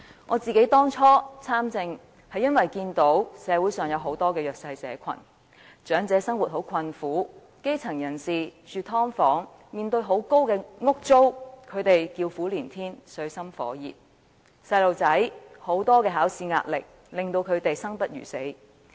我當初參政，是因為看到社會上有很多弱勢社群：長者生活困苦；基層人士除了要住"劏房"，還要面對高昂的租金，實在水深火熱，叫苦連天；學童要面對很多考試壓力，令他們生不如死。